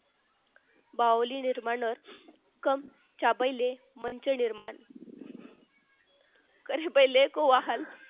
बाहुली निर्माण असं कम च्या पहिले मैत्री निर्माण करे पहिले को वाहन